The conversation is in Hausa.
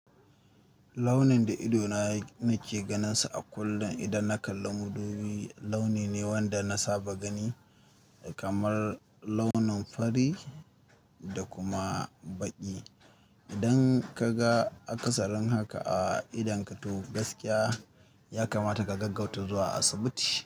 Launin da idona nake ganinsa a kullum idan na kalla madubi, launi ne wanda na saba gani kamar launin fari da kuma baƙi. Idan ka ga akasarin haka a idon ka to gaskiya ya kamata ka gaggauta zuwa asibiti.